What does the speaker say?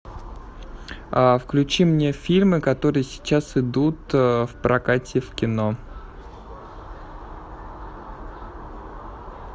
включи мне фильмы которые сейчас идут в прокате в кино